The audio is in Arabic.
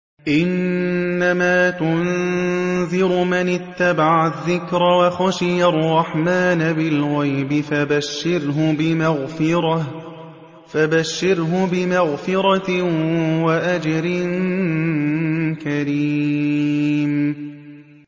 إِنَّمَا تُنذِرُ مَنِ اتَّبَعَ الذِّكْرَ وَخَشِيَ الرَّحْمَٰنَ بِالْغَيْبِ ۖ فَبَشِّرْهُ بِمَغْفِرَةٍ وَأَجْرٍ كَرِيمٍ